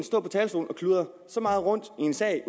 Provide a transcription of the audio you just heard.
stå på talerstolen og kludre så meget rundt i en sag